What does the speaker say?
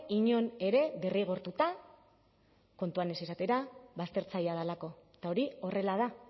inon ere derrigortuta kontuan ez izatera baztertzailea delako eta hori horrela da